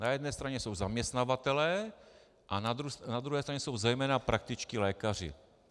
Na jedné straně jsou zaměstnavatelé a na druhé straně jsou zejména praktičtí lékaři.